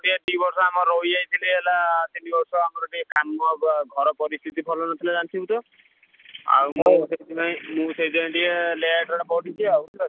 ଟିକେ ଦି ବର୍ଷ ଆମର ରହି ଯାଇଥିଲି ହେଲା ତିନି ବର୍ଷ ଆମର ଟିକେ କାମ ଘର ପରିସ୍ଥିତି ଭଲ ନଥିଲା ଜାଣିଥିବୁ ତ? ଆଉ ମୁଁ ମୁଁ ସେଇଥି ପାଇଁ କି ଟିକେ late ରେ ପଢିଚି ଆଉ।